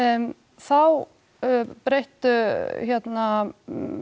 þá breyttu hérna